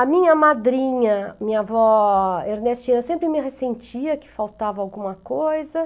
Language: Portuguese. A minha madrinha, minha avó Ernestina, sempre me ressentia que faltava alguma coisa.